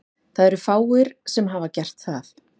Það eru fáir sem hafa gert það.